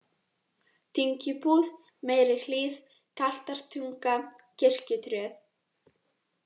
Dyngjubúð, Meiri-Hlíð, Galtartunga, Kirkjutröð